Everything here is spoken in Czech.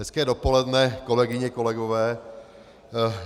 Hezké dopoledne, kolegyně, kolegové.